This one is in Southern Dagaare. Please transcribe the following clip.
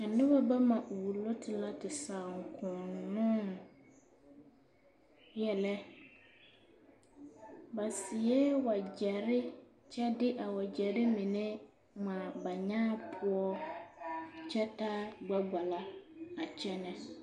A noba bama wulo te la te saaŋkonnoŋ yɛlɛ, ba seɛ wagyɛre kyɛ de a wagyɛre mine ŋmaa ba nyaa poɔ kyɛ taa gbɛkpala a kyɛnɛ.